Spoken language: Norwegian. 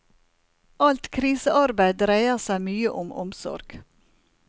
Alt krisearbeid dreier seg mye om omsorg.